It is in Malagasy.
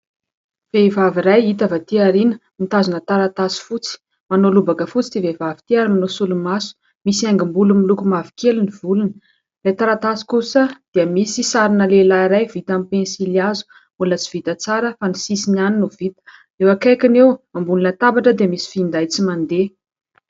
Vehivavy iray hita avy atỳ ao aoriana mitazona taratasy fotsy. Manao lobaka fotsy ity vehivavy ity ary manao solomaso, misy haingom-bolo miloko mavokely ny volony. Ilay taratasy kosa dia misy sarina lehilahy iray vita amin'ny penisilihazo, mbola tsy vita tsara fa ny sisiny ihany no vita ; eo akaikiny eo ambonina latabatra dia misy finday tsy mandeha.